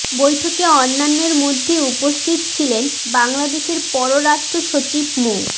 বৈঠকে অন্যান্যের মধ্যে উপস্থিত ছিলেন বাংলাদেশের পররাষ্ট্র সচিব মো